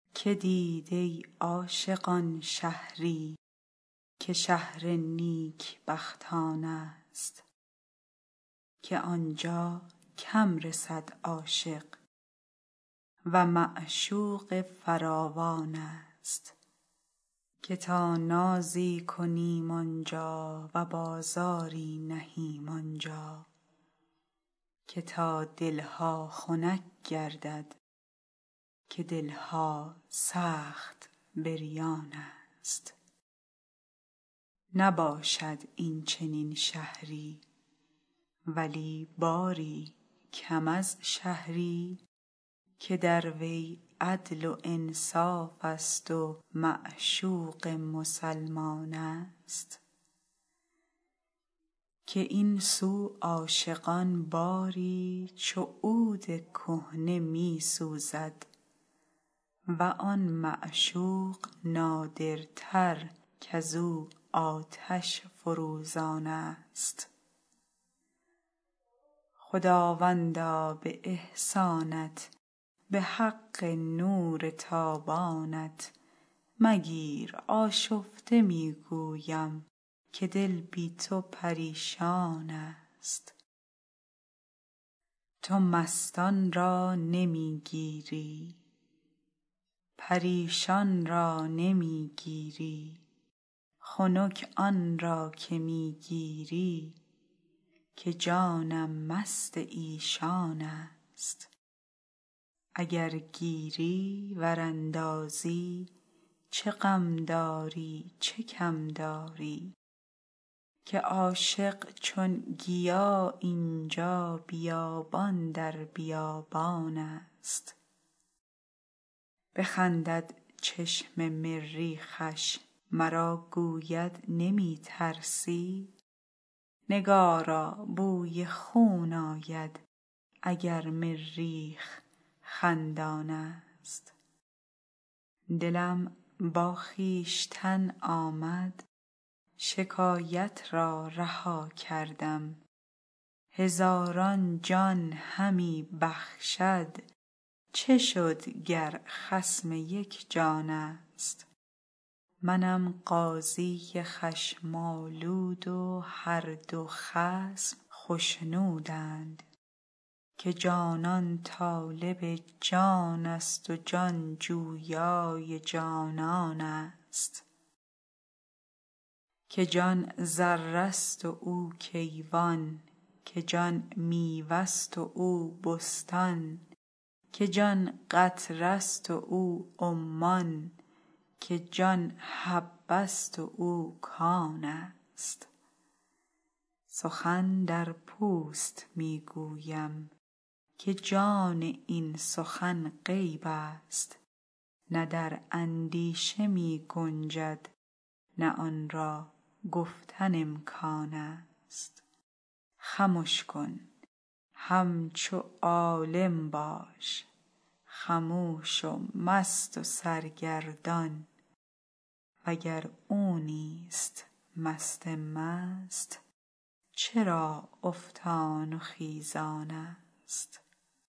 که دید ای عاشقان شهری که شهر نیکبختانست که عاشق کم رسد آنجا و معشوقش فراوانست که تا نازی کنیم آن جا و بازاری نهیم آن جا که تا دل ها خنک گردد که دل ها سخت بریانست نباشد این چنین شهری ولی باری کم از شهری که در وی عدل و انصافست و معشوق مسلمانست که این سو عاشقان باری چو عود کهنه می سوزد و آن معشوق نادرتر کز او آتش فروزانست خداوندا به احسانت به حق لطف و اکرامت مگیر آشفته می گویم که جان بی تو پریشانست تو مستان را نمی گیری پریشان را نمی گیری خنک آن را که می گیری که جانم مست ایشانست اگر گیری ور اندازی چه غم داری چه کم داری که عاشق هر طرف این جا بیابان در بیابانست بخندد چشم مریخش مرا گوید نمی ترسی نگارا بوی خون آید اگر مریخ خندانست دلم با خویشتن آمد شکایت را رها کردم هزاران جان همی بخشد چه شد گر خصم یک جانست منم قاضی خشم آلود و هر دو خصم خشنودند که جانان طالب جانست و جان جویای جانانست که جان ذره ست و او کیوان که جان میوه ست و او بستان که جان قطره ست و او عمان که جان حبه ست و او کانست سخن در پوست می گویم که جان این سخن غیبست نه در اندیشه می گنجد نه آن را گفتن امکانست خمش کن همچو عالم باش خموش و مست و سرگردان وگر او نیست مست مست چرا افتان و خیزانست